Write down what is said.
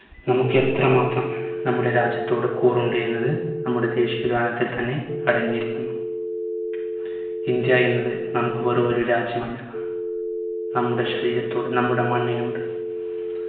നമ്മുക്ക് എത്രമാത്രം നമ്മുടെ രാജ്യത്തോട് കൂറുണ്ട് എന്നത് നമ്മുടെ ദേശിയ ഗാനത്തിൽ തന്നെ അടങ്ങിയിരിക്കുന്നു. ഇന്ത്യ എന്നത് നമ്മുക്ക് വെറും ഒരു രാജ്യമല്ല നമ്മുടെ ശരീരത്തോട് നമ്മുടെ മണ്ണിനോട്